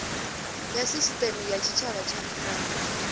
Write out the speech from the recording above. ya sisiteme ya tshitshavha na